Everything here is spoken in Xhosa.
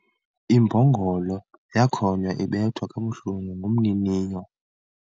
Imbongolo yakhonya ibethwa kabuhlungu ngumniniyo